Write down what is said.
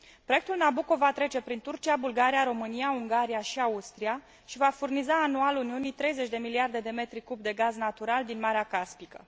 Proiectul Nabucco va trece prin Turcia, Bulgaria, România, Ungaria și Austria și va furniza anual Uniunii 30 de miliarde de m de gaz natural din Marea Caspică.